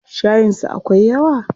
Shayin su akwai yawa?